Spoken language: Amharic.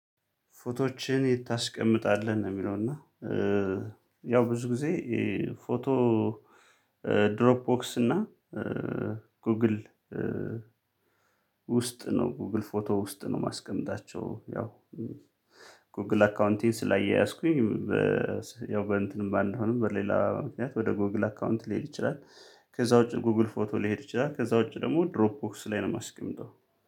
ፎቶዎችህን የት ታስቀምጣለህ ነው የሚለው? እና ያው ብዙ ጊዜ ፎቶ ድሮፕ ቦክስ እና ጎግል ውስጥ ነው ጎግል ፎቶ ውስጥ ነው ማስቀምጣቸው። ያው ጎግል አካውንቴን ስላያያዝኩኝ ያው በእንትንም ባንሆንም በሌላ ምክንያት ወደ ጎግል አካውንት ሊሄድ ይችላል። ከዛ ውጪ ጎግል ፎቶ ሊሄድ ይችላል። ከዛ ውጪ ደግሞ ድሮፕ ቦክስ ላይ ነው የማስቀምጠው